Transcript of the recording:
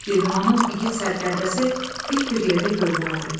Girdimanın igid sərkərdəsi dik bir yerdə görünərdi.